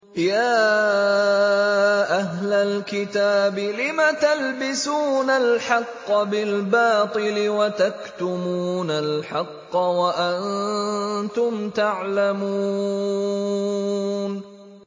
يَا أَهْلَ الْكِتَابِ لِمَ تَلْبِسُونَ الْحَقَّ بِالْبَاطِلِ وَتَكْتُمُونَ الْحَقَّ وَأَنتُمْ تَعْلَمُونَ